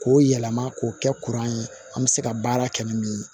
K'o yɛlɛma k'o kɛ kuran ye an bɛ se ka baara kɛ ni min ye